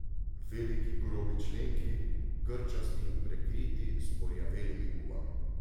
Veliki grobi členki, grčasti in prekriti s porjavelimi gubami.